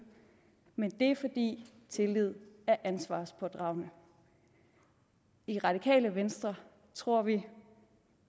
men det er fordi tillid er ansvarspådragende i radikale venstre tror vi